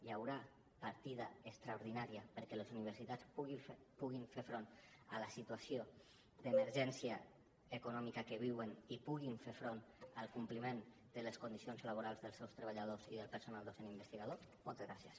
hi haurà partida extraordinària perquè les universitats puguin fer front a la situació d’emergència econòmica que viuen i puguin fer front al compliment de les condicions laborals dels seus treballadors i del personal docent investigador moltes gràcies